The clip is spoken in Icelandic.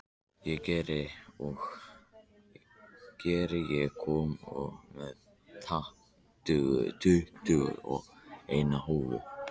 Geir, ég kom með tuttugu og eina húfur!